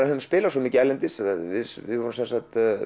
höfum spilað svo mikið erlendis við